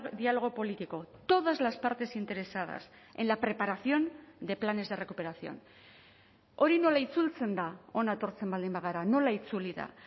diálogo político todas las partes interesadas en la preparación de planes de recuperación hori nola itzultzen da hona etortzen baldin bagara nola itzuli da